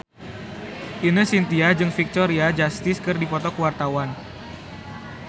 Ine Shintya jeung Victoria Justice keur dipoto ku wartawan